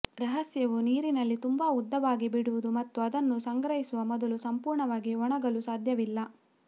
ರಹಸ್ಯವು ನೀರಿನಲ್ಲಿ ತುಂಬಾ ಉದ್ದವಾಗಿ ಬಿಡುವುದು ಮತ್ತು ಅದನ್ನು ಸಂಗ್ರಹಿಸುವ ಮೊದಲು ಸಂಪೂರ್ಣವಾಗಿ ಒಣಗಲು ಸಾಧ್ಯವಿಲ್ಲ